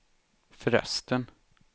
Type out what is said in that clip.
förresten